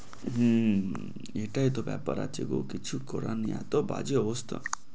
হম এটাই তো ব্যাপার আছে কিছু করার নেই। তো বাজে অবস্থা